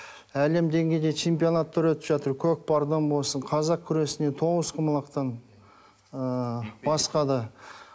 әлем деңгейінде чемпионаттар өтіп жатыр көкпардан болсын қазақ күресінен тоғызқұмалақтан ыыы басқа да